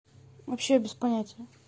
вообще без понятия